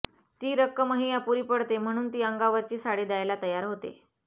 ती रक्कमही अपुरी पडते म्हणून ती अंगावरची साडी द्यायला तयार होते